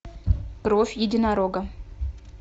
кровь единорога